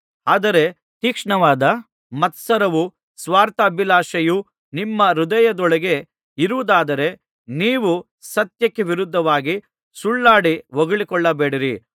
ಆದರೆ ತೀಕ್ಷ್ಣವಾದ ಮತ್ಸರವೂ ಸ್ವಾರ್ಥಾಭಿಲಾಶೆಯೂ ನಿಮ್ಮ ಹೃದಯದೊಳಗೆ ಇರುವುದಾದರೆ ನೀವು ಸತ್ಯಕ್ಕೆ ವಿರೋಧವಾಗಿ ಸುಳ್ಳಾಡಿ ಹೊಗಳಿಕೊಳ್ಳಬೇಡಿರಿ